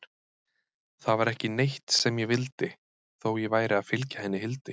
Það var ekki neitt sem ég vildi, þó ég væri að fylgja henni Hildi.